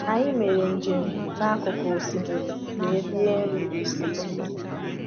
Anyị mere njem n’akụkụ osimiri wee rie nri ụtụtụ.